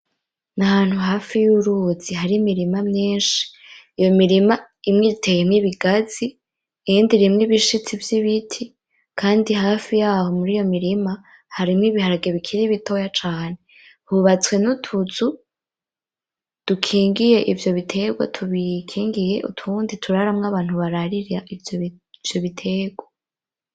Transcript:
Ni ahantu hafi y'uruzi hari imirima myinshi, iyo mirima imwe iteyemwo ibigazi iyindi irimwo ibishitsi vy'ibiti, kandi hafi yaho muriyo mirima harimwo ibiharage bikiri bitoya cane. Hubatswe n'utuzu dukingiye ivyo biterwa tubikingiye, utundi turaramwo abantu bararira ivyo biterwa.